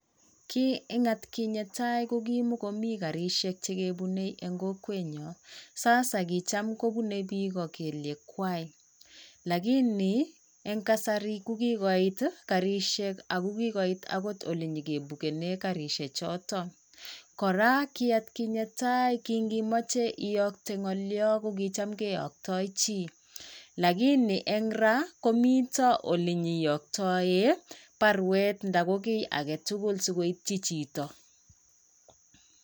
Kii eng atkinye tai ko kimogomii karishek chekebunei eng kokwenyo. Sasa kichamkobunei biik o kelyek kwai lakini eng kasari kokigoit garishek ak kigoit alenyekebugenee karishek chotoon. Kora ki atkinyen tai kingi machei iyakte ng'olioo kokichamkeyaktoi chi. Lakini eng raa komito olenyeiyoktae barwet ndakokiy agetugul si koityi chito.